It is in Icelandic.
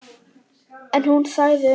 En hún þagði um það.